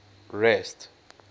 rest